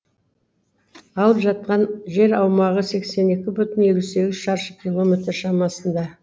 алып жатқан жер аумағы сексен екі бүтін елу сегіз шаршы километр шамасында